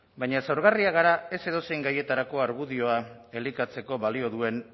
baina zaurgarriak gara ez edozein gaietarako argudioa elikatzeko balio duen